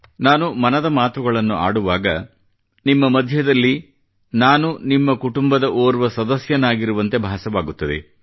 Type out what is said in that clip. ನಾನು ಮನದ ಮಾತುಗಳನ್ನು ಆಡುವಾಗ ನಿಮ್ಮ ಮಧ್ಯದಲ್ಲಿ ನಾನು ನಿಮ್ಮ ಕುಟುಂಬದ ಓರ್ವ ಸದಸ್ಯನಾಗಿರುವಂತೆ ನನಗೆ ಭಾಸವಾಗುತ್ತದೆ